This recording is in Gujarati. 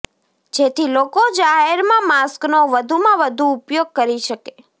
જેથી લોકો જાહેરમાં માસ્કનો વધુમાં વધુ ઉપયોગ કરી શકે